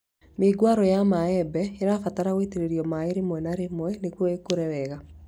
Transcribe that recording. Mĩũngũrwa ya mĩembe ĩbataraga gũitĩrĩrio maĩ rĩmwe na rĩmwe nĩguo ĩkũre wega